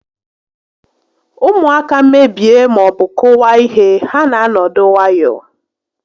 Ụmụaka mebie maọbụ kụwaa ihe, ha na-anọdụ nwayọọ